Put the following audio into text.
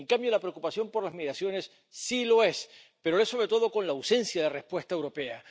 En cambio, la preocupación por las migraciones sí lo es, pero lo es sobre todo con la ausencia de respuesta europea.